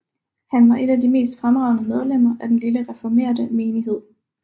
Han var et af de mest fremragende medlemmer af den lille reformerte menighed